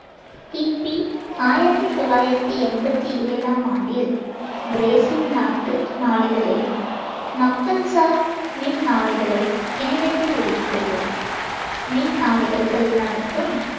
கி பி ஆயிரத்தி தொள்ளாயிரத்தி எம்பத்தி ஏழாம் ஆண்டில் பிரேசில் நாட்டு நாளிதழே மக்கள் சார் மின் நாளிதழை இணையத்தில் வெளியிட்டது. மின் நாளிதழ்கள் நடத்தும்